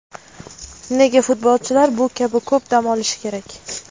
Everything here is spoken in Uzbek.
Nega futbolchilar bu kabi ko‘p dam olishi kerak?